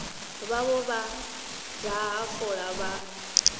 vhavho vha daha fola vha